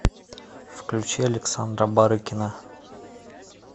включи александра барыкина